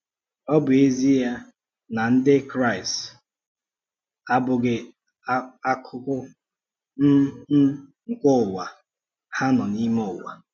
Ọ bụ ezie na Ndị Kraịst um abụghị akụkụ um um nke ụwa, ha nọ n’ime ụwa.